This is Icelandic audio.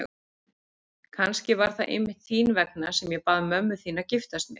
Kannski var það einmitt þín vegna sem ég bað mömmu þína að giftast mér.